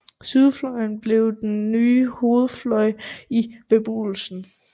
Sydfløjen blev den nye hovedfløj i beboelsen